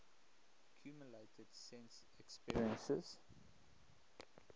accumulated sense experiences